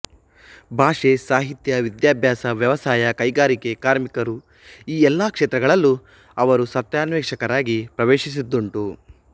ಭಾಷೆ ಸಾಹಿತ್ಯ ವಿದ್ಯಾಭ್ಯಾಸ ವ್ಯವಸಾಯ ಕೈಗಾರಿಕೆ ಕಾರ್ಮಿಕರುಈ ಎಲ್ಲ ಕ್ಷೇತ್ರಗಳಲ್ಲೂ ಅವರು ಸತ್ಯಾನ್ವೇಷಕರಾಗಿ ಪ್ರವೇಶಿಸಿದ್ದುಂಟು